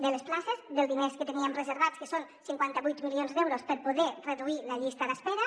de les places dels diners que teníem reservats que són cinquanta vuit milions d’euros per poder reduir la llista d’espera